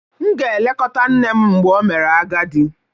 M ga-elekọta nne m mgbe o mere agadi